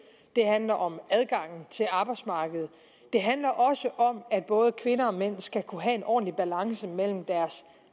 det handler om adgangen til arbejdsmarkedet og det handler også om at både kvinder og mænd skal kunne have en ordentlig balance mellem deres